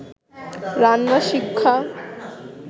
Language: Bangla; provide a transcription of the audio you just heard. রান্না শিক্ষা